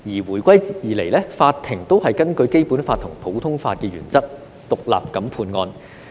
回歸後，法庭也是根據《基本法》及普通法原則獨立判案。